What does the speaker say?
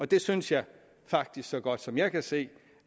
det synes jeg faktisk så godt som jeg kan se